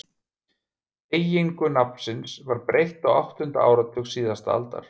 Beygingu nafnsins var breytt á áttunda áratug síðustu aldar.